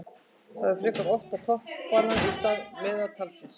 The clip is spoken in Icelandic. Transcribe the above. Það er frekar horft á toppanna í stað meðaltalsins.